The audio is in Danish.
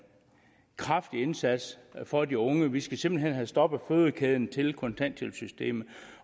kraftig indsats for de unge vi skal simpelt hen have stoppet fødekæden til kontanthjælpssystemet